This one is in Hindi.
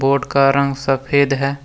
बोर्ड का रंग सफेद है।